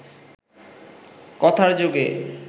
কথার যোগে